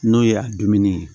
N'o ye a dumuni ye